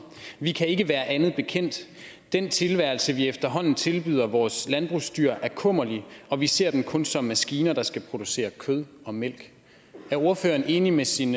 vi kan ikke være andet bekendt den tilværelse vi efterhånden tilbyder vores landbrugsdyr er kummerlig og vi ser dem kun som maskiner der skal producere kød og mælk er ordføreren enig med sin